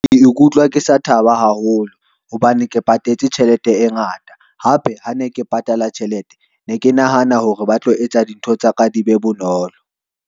Ke ikutlwa ke sa thaba haholo hobane ke patetse tjhelete e ngata, hape ha ne ke patala tjhelete ne ke nahana hore ba tlo etsa dintho tsa ka di be bonolo.